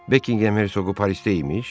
Bekingham Herzoqu Parisdə imiş.